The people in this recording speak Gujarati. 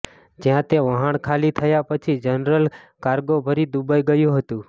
જ્યાં તે વહાણ ખાલી થયા પછી જનરલ કાર્ગો ભરી દુબઈ ગયું હતું